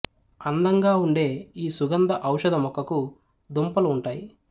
అందంగా ఉండే ఈ సుగంధ ఔషధ మొక్కకు దుంపలు ఉంటాయి